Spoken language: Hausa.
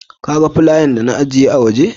Ka gan flaya da na ajiye ska waje?